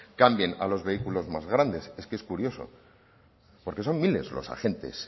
cambien a los vehículos más grandes es que es curioso porque son miles los agentes